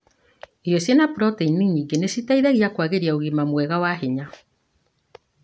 Irio cĩina proteini nyingĩ nĩ citeithagia kũagĩria ũgima mwega wa hinya.